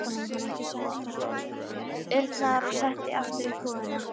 urnar og setti aftur upp húfuna.